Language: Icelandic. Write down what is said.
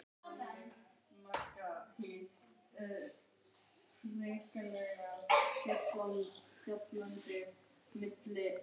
Hann vaknaði á undan vekjaraklukkunni þó að hann hefði lítið sofið um nóttina.